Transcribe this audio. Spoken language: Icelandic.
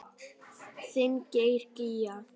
Þinn Geir Gígja.